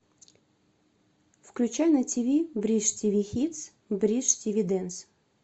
включай на тв бридж тв хитс бридж тв дэнс